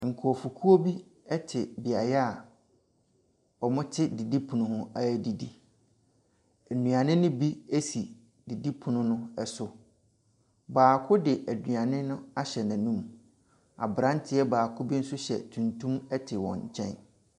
Nkurɔfokuo bi te beaeɛ a wɔte didipono ho redidi. Nnuane no bi si didipono no so. Baako de aduane no ahyɛ n'anum. Aberanteɛ baako bi nso hyɛ tuntum te wɔn nkyɛn.